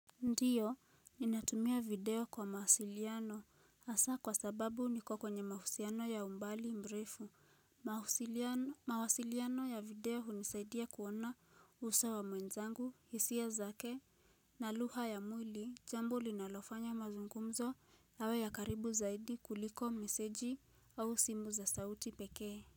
Ndiyo, ninatumia video kwa mawasiliano hasa kwa sababu niko kwenye mahusiano ya umbali mrefu, mawasiliano mawasiliano ya video hunisaidia kuona uso wa mwenzangu, hisia zake, na lugha ya mwili, jambo linalofanya mazungumzo yawe ya karibu zaidi kuliko meseji au simu za sauti pekee.